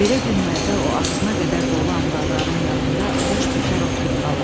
Belə günlərdə o ağzına qədər dolu anbarların yanında boş bikar oturub qalır.